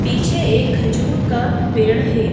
पीछे एक खजूर का पेड़ है।